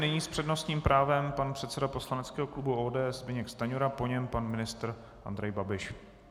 Nyní s přednostním právem pan předseda poslaneckého klubu ODS Zbyněk Stanjura, po něm pan ministr Andrej Babiš.